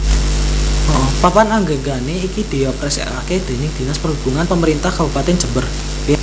Papan Anggegana iki dioperasikake déning Dinas Perhubungan Pemerintah Kabupatèn Jember